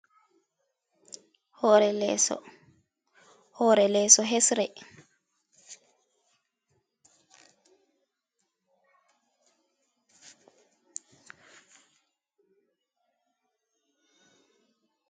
Hore leeso, hore leeso hesre.